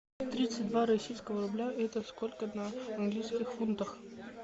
тридцать два российского рубля это сколько в английских фунтах